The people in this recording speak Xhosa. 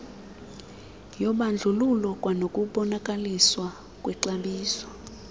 yobandlululo kwanokubonakaliswa kwexabiso